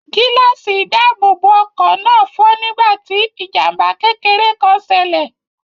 Gíláàsì ìdáàbòbọ̀ ọkọ̀ náà fọ́ nígbà tí ijamba kékeré kan ṣẹlẹ̀.